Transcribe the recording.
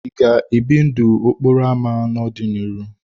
Ị ga-ebi ndụ n'okporo ámá n'ọdịnihu?